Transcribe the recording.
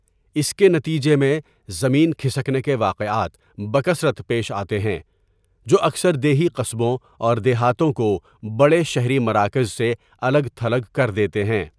اس کے نتیجے میں، زمین کھسکنے کے واقعات بکثرت پیش آتے ہیں جو اکثر دیہی قصبوں اور دیہاتوں کو بڑے شہری مراکز سے الگ تھلگ کر دیتے ہیں۔